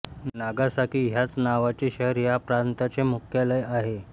Nagasaki ह्याच नावाचे शहर ह्या प्रांताचे मुख्यालय आहे